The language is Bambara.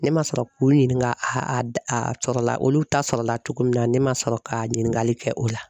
Ne ma sɔrɔ k'u ɲininka a a sɔrɔla olu ta sɔrɔla cogo min na ne ma sɔrɔ ka ɲininkali kɛ o la.